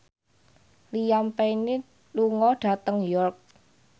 Liam Payne lunga dhateng York